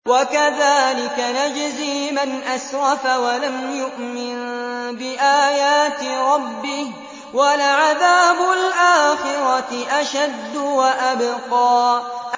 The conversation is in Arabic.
وَكَذَٰلِكَ نَجْزِي مَنْ أَسْرَفَ وَلَمْ يُؤْمِن بِآيَاتِ رَبِّهِ ۚ وَلَعَذَابُ الْآخِرَةِ أَشَدُّ وَأَبْقَىٰ